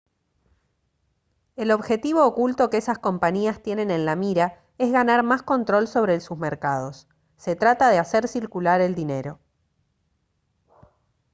el objetivo oculto que esas compañías tienen en la mira es ganar más control sobre sus mercados se trata de hacer circular el dinero